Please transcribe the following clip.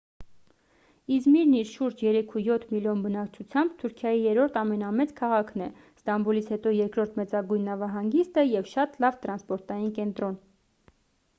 իզմիրն իր շուրջ 3,7 մլն բնակչությամբ թուրքիայի երրորդ ամենամեծ քաղաքն է ստամբուլից հետո երկրորդ մեծագույն նավահանգիստը և շատ լավ տրանսպորտային կենտրոն